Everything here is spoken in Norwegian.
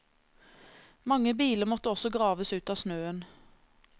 Mange biler måtte også graves ut av snøen.